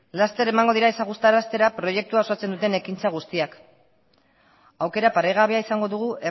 laster emango dira ezagutaraztera proiektua osatzen duten ekintza guztiak aukera paregabea izango dugu